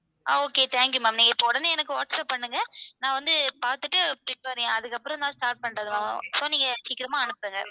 Ah okay thank you ma'am நீங்க இப்போ உடனே எனக்கு வாட்ஸ்ஆப் பண்ணுங்க. நான் வந்து பாத்துட்டு அதுக்கப்புறம் தான் start பண்றதெல்லாம் so நீங்க சீக்கிரமா அனுப்புங்க.